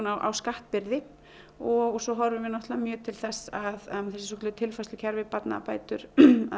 á skattbyrði og svo horfum við náttúrulega mjög til þess að þessi svokölluðu tilfærslukerfi barnabætur